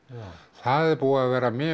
það er búið að vera mjög